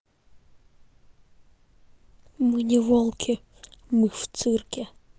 мы не волки мы в цирке